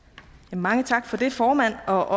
mange tak for det formand og